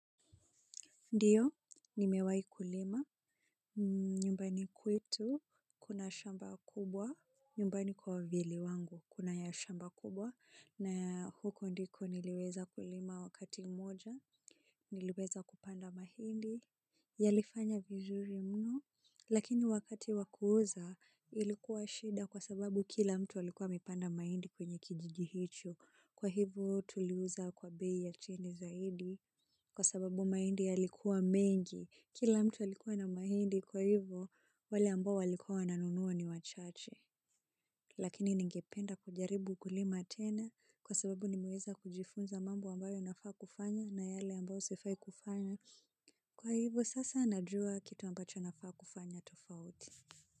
Ndiyo, nimewai kulima, nyumbani kwetu, kuna shamba kubwa, nyumbani kwa wavyele wangu, kuna ya shamba kubwa, na huko ndiko niliweza kulima wakati moja, niliweza kupanda mahindi, yalifanya vizuri mno, lakini wakati wakuuza, ilikuwa shida kwa sababu kila mtu alikuwa amepanda mahindi kwenye kijiji hicho. Kwa hivyo tuliuza kwa bei ya chini zaidi kwa sababu mahindi yalikuwa mengi. Kila mtu alikuwa na mahindi kwa hivyo wale ambao waliku wananunua ni wachache. Lakini ningependa kujaribu ukulima tena kwa sababu nime weza kujifunza mambo ambayo nafaa kufanya na yale ambayo sifai kufanya. Kwa hivyo sasa najua kitu ambacho nafaa kufanya tofauti.